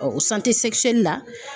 la.